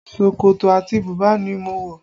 Ṣòkòtò àti bùbá ni mo wọ